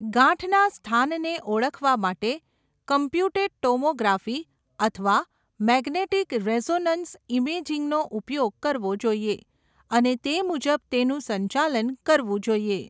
ગાંઠના સ્થાનને ઓળખવા માટે કોમ્પ્યુટેડ ટોમોગ્રાફી અથવા મેગ્નેટિક રેઝોનન્સ ઇમેજિંગનો ઉપયોગ કરવો જોઈએ અને તે મુજબ તેનું સંચાલન કરવું જોઈએ.